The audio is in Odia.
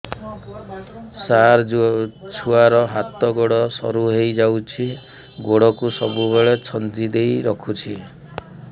ସାର ଛୁଆର ହାତ ଗୋଡ ସରୁ ହେଇ ଯାଉଛି ଗୋଡ କୁ ସବୁବେଳେ ଛନ୍ଦିଦେଇ ରଖୁଛି